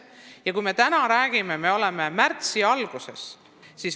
Täna, kui me sellest räägime, on märtsi algus.